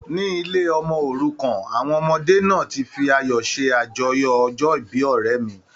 Ní ilé ọmọ òrukàn, àwọn ọmọdé náà ti fi ayọ̀ ṣe àjọyọ̀ ọjọ́ ìbí ọ̀rẹ́ mi.